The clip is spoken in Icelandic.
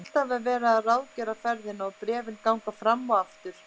Alltaf er verið að ráðgera ferðina og bréfin ganga fram og aftur.